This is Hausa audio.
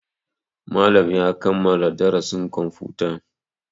Malam ya kammala darasin kwamfuta.